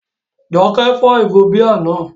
Jọkẹ́ fọ́ ìgò bíà náà